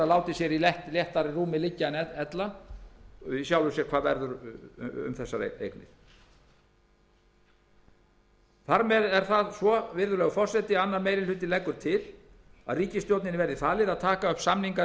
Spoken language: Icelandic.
látið sér í léttara rúmi liggja en ella hvað verður um þessar eignir þar með er það svo virðulegi forseti að annar minni hluti utanríkismálanefndar leggur til að ríkisstjórninni verði falið að taka upp samningaviðræður